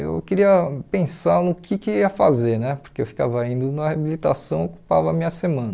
Eu queria pensar no que que eu ia fazer né, porque eu ficava indo na reabilitação, ocupava a minha semana.